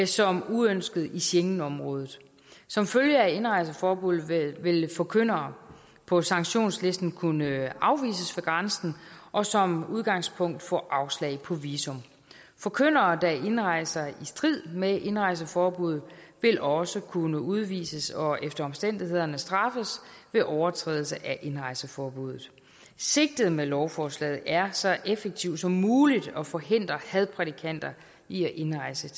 som uønskede i schengenområdet som følge af indrejseforbuddet vil forkyndere på sanktionslisten kunne afvises ved grænsen og som udgangspunkt få afslag på visum forkyndere der indrejser i strid med indrejseforbuddet vil også kunne udvises og efter omstændighederne straffes ved overtrædelse af indrejseforbuddet sigtet med lovforslaget er så effektivt som muligt at forhindre hadprædikanter i at indrejse